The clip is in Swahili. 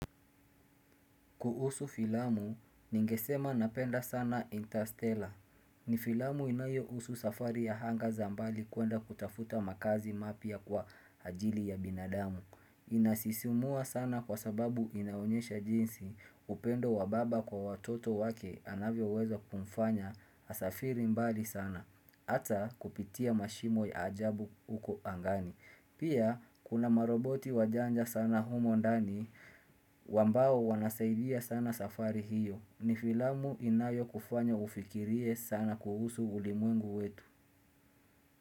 Kuhusu filamu, ningesema napenda sana Interstellar. Ni filamu inayo husu safari ya hanga za mbali kuenda kutafuta makaazi mapya kwa ajili ya binadamu. Inasisimua sana kwa sababu inaonyesha jinsi upendo wa baba kwa watoto wake anavyo uwezo kumfanya asafiri mbali sana. Ata kupitia mashimo ya ajabu uko angani. Pia kuna maroboti wajanja sana humo ndani wambao wanasaidia sana safari hiyo ni filamu inayo kufanya ufikirie sana kuhusu ulimwengu wetu.